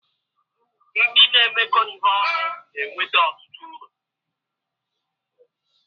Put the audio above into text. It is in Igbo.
Ndị na-emekọ ihe ọnụ na-enweta ọtụtụ uru.